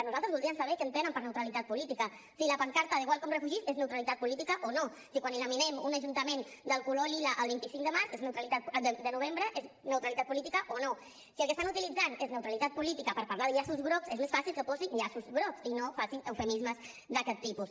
nosaltres voldríem saber què entenen per neutralitat política si la pancarta de welcome refugees és neutralitat política o no si quan eliminem d’un ajuntament el color lila el vint cinc de novembre és neutralitat política o no si el que estan utilitzant és neutralitat política per parlar de llaços grocs és més fàcil que posin llaços grocs i no facin eufemismes d’aquest tipus